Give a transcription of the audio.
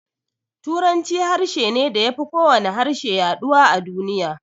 Turanci harshe ne da ya fi kowane harshe yaduwa a duniya.